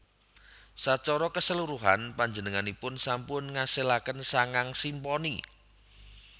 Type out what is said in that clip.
Sacara kaseluruhan panjenenganipun sampun ngasilaken sangang simponi